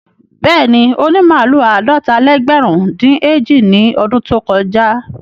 Bẹ́ẹ̀ni, ó ní màlúù àádọ́ta-lẹ́gbẹ̀rún-dín-èjì ní ọdún tó kọjá.